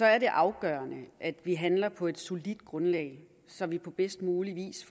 er det afgørende at vi handler på et solidt grundlag så vi på bedst mulig vis